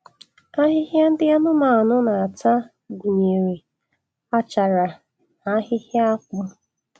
Ahịhịa ndị anụmanụ na-ata gụnyere achara na ahịhịa akpụ